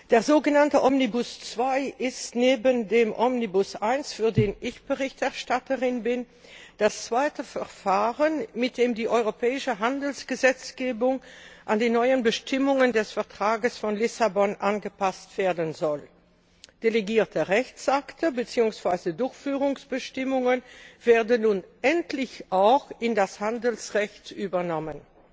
Der sogenannte Omnibus II ist neben dem Omnibus I für den ich Berichterstatterin bin das zweite Verfahren, mit dem die europäische Handelsgesetzgebung an die neuen Bestimmungen des Vertrags von Lissabon angepasst werden soll. Delegierte Rechtsakte bzw. Durchführungsbestimmungen werden nun endlich auch in das Handelsrecht übernommen.